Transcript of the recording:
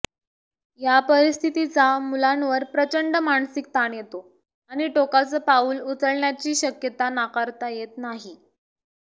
या परिस्थितीचा मुलांवर प्रचंड मानसिक ताण येतो आणि टोकाचं पाऊल उचलण्याची शक्यता नाकारता येत नाही